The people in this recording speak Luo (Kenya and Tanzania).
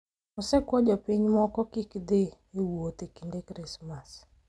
osekwayo jopinyne mondo kik gidhi e wuoth e kinde Krismas